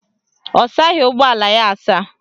Ọ saghị ụgbọala ya asa